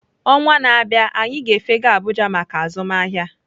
Ọnwa na-abịa, anyị ga-efega abuja maka azụmahịa